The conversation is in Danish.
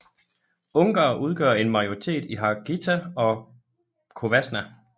Ungarere udgør en majoritet i Harghita og Covasna